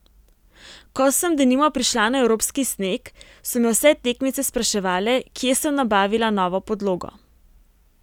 Ko sem denimo prišla na evropski sneg, so me vse tekmice spraševale, kje sem nabavila novo podlogo.